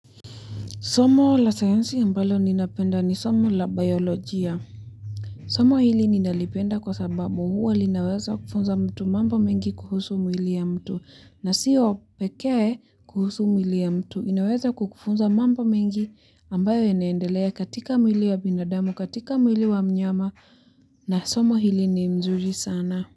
Somo la sayansi ambalo ninapenda ni somo la biolojia. Somo hili ninalipenda kwa sababu huwa linaweza kufunza mtu mambo mengi kuhusu mwili ya mtu. Na siyo pekee kuhusu mwili ya mtu. Inaweza kukufunza mambo mengi ambayo inaendelea katika mwili wa binadamu, katika mwili wa mnyama na somo hili ni mzuri sana.